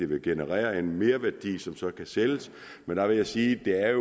vil generere en merværdi som så kan sælges men der vil jeg sige at